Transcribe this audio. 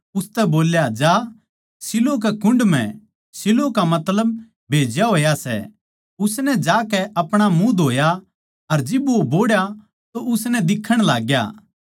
उसतै बोल्या जा शीलोह कै कुण्ड म्ह शीलोह का मतलब भेज्या होया सै उसनै जाकै अपणा मुँह धोया अर जिब वो बोहड़ा तो उसनै दिक्खण लाग्या